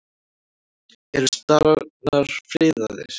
Eru starar friðaðir?